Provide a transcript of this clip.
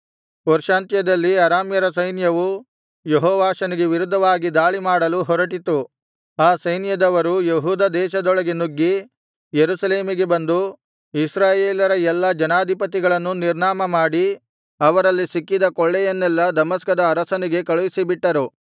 ವರ್ಷಾಂತ್ಯದಲ್ಲಿ ಅರಾಮ್ಯರ ಸೈನ್ಯವು ಯೆಹೋವಾಷನಿಗೆ ವಿರುದ್ಧವಾಗಿ ದಾಳಿಮಾಡಲು ಹೊರಟಿತು ಆ ಸೈನ್ಯದವರು ಯೆಹೂದ ದೇಶದೊಳಗೆ ನುಗ್ಗಿ ಯೆರೂಸಲೇಮಿಗೆ ಬಂದು ಇಸ್ರಾಯೇಲರ ಎಲ್ಲಾ ಜನಾಧಿಪತಿಗಳನ್ನು ನಿರ್ನಾಮ ಮಾಡಿ ಅವರಲ್ಲಿ ಸಿಕ್ಕಿದ ಕೊಳ್ಳೆಯನ್ನೆಲ್ಲಾ ದಮಸ್ಕದ ಅರಸನಿಗೆ ಕಳುಹಿಸಿಬಿಟ್ಟರು